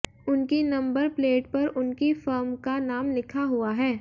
उनकी number plate पर उनकी फर्म का नाम लिखा हुआ है